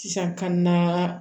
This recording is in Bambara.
Sisan kan na